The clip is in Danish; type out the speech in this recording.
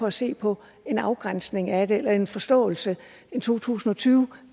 at se på en afgrænsning af det en forståelse en to tusind og tyve